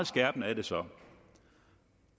skærpende er det så